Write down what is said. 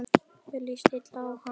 Mér líst illa á hana.